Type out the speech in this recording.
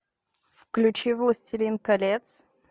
включи властелин колец